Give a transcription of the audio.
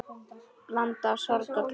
Blanda af sorg og gleði.